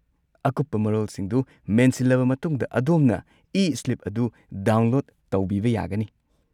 ꯑꯀꯨꯞꯄ ꯃꯔꯣꯜꯁꯤꯡꯗꯨ ꯃꯦꯟꯁꯤꯜꯂꯕ ꯃꯇꯨꯡꯗ, ꯑꯗꯣꯝꯅ ꯏ-ꯁ꯭ꯂꯤꯞ ꯑꯗꯨ ꯗꯥꯎꯟꯂꯣꯗ ꯇꯧꯕꯤꯕ ꯌꯥꯒꯅꯤ꯫